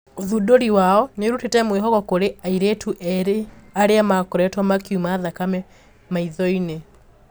ũthundũri wao niurutite mwihoko kuri airitũ eri aria makoritwo makiuma thakame maithoini.